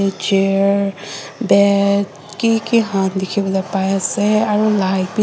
chair bed kiki khan dikhiwo lae paise aro light bi.